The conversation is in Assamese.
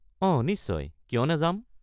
অঁ, নিশ্চয়, কিয় নাযাম?